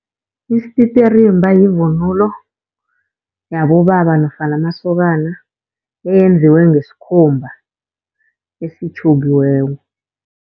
Isititirimba yivunulo yabobaba nofana amasokana eyenziwe ngesikhumba esitjhukiweko.